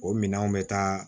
O minɛnw bɛ taa